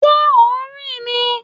Ṣé ò ń rìn ni?